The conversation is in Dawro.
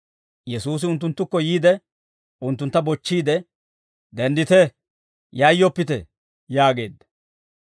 Yesuusi unttunttukko yiide, unttuntta bochchiide, «Denddite; yayyoppite» yaageedda.